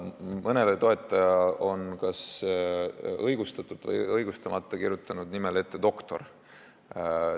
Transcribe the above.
Mõne toetaja nimele on kas õigustatult või õigustamata kirjutatud ette "doktor".